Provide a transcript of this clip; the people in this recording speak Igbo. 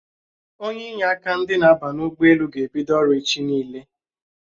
Onye inye aka ndị na-aba ụgbọelu ga-ebido ọrụ echi niile